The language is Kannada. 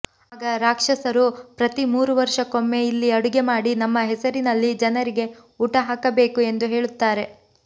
ಆಗ ರಾಕ್ಷಸರು ಪ್ರತಿ ಮೂರು ವರ್ಷಕ್ಕೊಮ್ಮೆ ಇಲ್ಲಿ ಅಡುಗೆ ಮಾಡಿ ನಮ್ಮ ಹೆಸರಿನಲ್ಲಿ ಜನರಿಗೆ ಊಟ ಹಾಕಬೇಕು ಎಂದು ಹೇಳುತ್ತಾರೆ